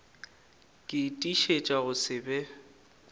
ke tiišetša go se be